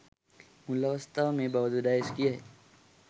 මුල් අවස්ථාව මෙය බව ද ඩයස් කියයි.